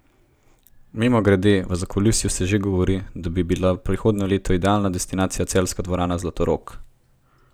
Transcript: Mimogrede, v zakulisju se že govori, da bi bila prihodnje leto idealna destinacija celjska dvorana Zlatorog.